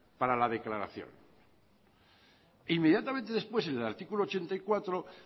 para la declaración inmediatamente después en el artículo ochenta y cuatro